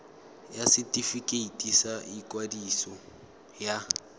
ya setefikeiti sa ikwadiso ya